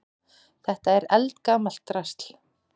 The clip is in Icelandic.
Þetta er eldgamalt drasl.